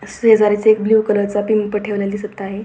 शेजारीच एक blue colour चा पिंप ठेवलेला दिसत आहे.